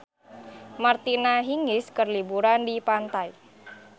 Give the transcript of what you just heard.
Martina Hingis keur liburan di pantai